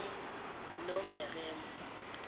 nomeremo